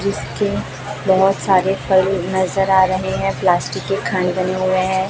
जिसके बहुत सारे फल नजर आ रहे हैं प्लास्टिक के खाने बने हुए हैं।